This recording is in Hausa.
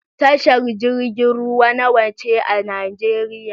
Tashar jirgin ruwa nawa ce a Nijeriya?